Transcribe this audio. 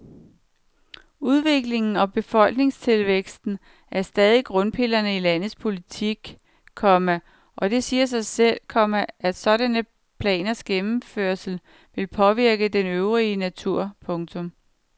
Udvikling og befolkningstilvækst er stadigvæk grundpillerne i landets politik, komma og det siger sig selv, komma at sådanne planers gennemførelse vil påvirke den øvrige natur. punktum